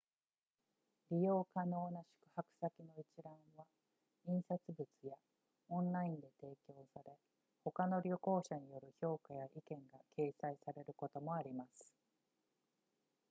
利用可能な宿泊先の一覧は印刷物やオンラインで提供され他の旅行者による評価や意見が掲載されることもあります